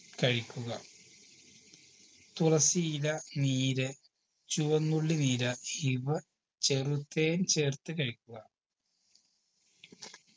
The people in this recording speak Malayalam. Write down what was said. കഴിക്കുക തുളസി ഇല നീര് ചുവന്നുള്ളി നീര് ഇവ ചെറുതേൻ ചേർത്ത് കഴിക്കുക